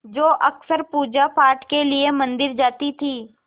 जो अक्सर पूजापाठ के लिए मंदिर जाती थीं